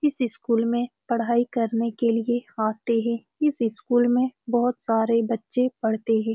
इस स्कूल में पढ़ाई करने के लिए आते हैं। इस इस स्कूल में बहुत सारे बच्चे पढ़ते हैं।